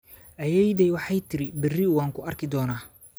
Ayeeyaday waxay tidhi beri way ku arki doontaa